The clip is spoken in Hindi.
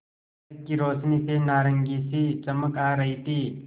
सड़क की रोशनी से नारंगी सी चमक आ रही थी